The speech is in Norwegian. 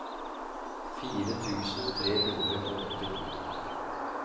fire tusen tre hundre og åttito